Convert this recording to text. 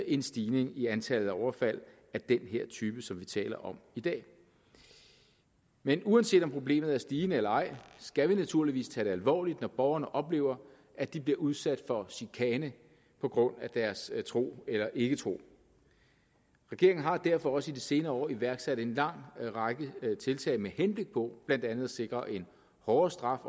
en stigning i antallet af overfald af den her type som vi taler om i dag men uanset om problemet er stigende eller ej skal vi naturligvis tage det alvorligt når borgerne oplever at de bliver udsat for chikane på grund af deres tro eller ikketro regeringen har derfor også i de senere år iværksat en lang række tiltag med henblik på blandt andet at sikre en hårdere straf